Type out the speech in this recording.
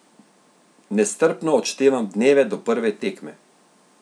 Nestrpno odštevam dneve do prve tekme.